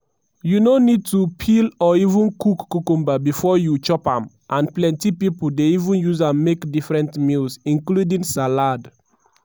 you no need to peel or even cook cucumber bifor you chop am and plenti pipo dey even use am make different meals including salad.